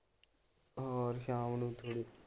ਹੋਰ ਸ਼ਾਮ ਨੂੰ ਪੀ ਲੇ।